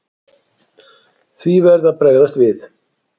Því verði að bregðast við.